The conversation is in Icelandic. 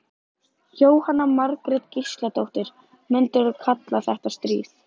Jóhanna Margrét Gísladóttir: Myndirðu kalla þetta stríð?